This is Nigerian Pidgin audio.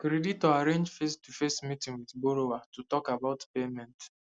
creditor arrange facetoface meeting with borrower to talk about payment